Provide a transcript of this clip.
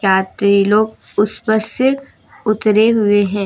यात्री लोग उस बस से उतरे हुए है।